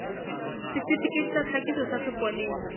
setifikeiti sa tlhakiso sa sepolesa